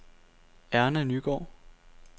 Erna Nygaard